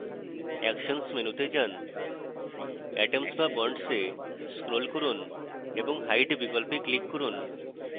actions মেনুতে যান atoms\bonds go scroll করুন এবং hide বিকল্পে click করুন